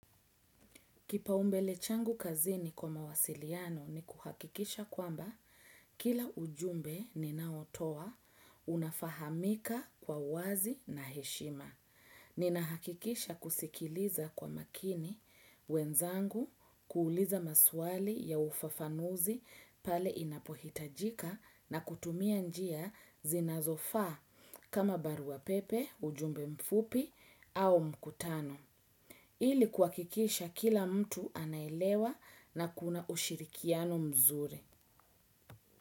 Kipaumbele changu kazini kwa mawasiliano ni kuhakikisha kwamba kila ujumbe ninaotoa unafahamika kwa wazi na heshima. Ninahakikisha kusikiliza kwa makini wenzangu kuuliza maswali ya ufafanuzi pale inapohitajika na kutumia njia zinazofaa kama barua pepe, ujumbe mfupi au mkutano. Ili kuhakikisha kila mtu anaelewa na kuna ushirikiano mzuri.